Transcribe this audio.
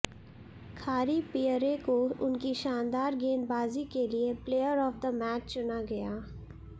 खारी Pierre को उनकी शानदार गेंदबाज़ी के लिए प्लेयर ऑफ़ द मैच चुना गया